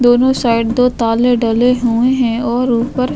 दोनों साइड दो ताले डले हुए हैं और ऊपर --